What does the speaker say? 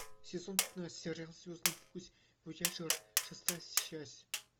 сезон пятнадцать сериал звездный путь вояжер шестая часть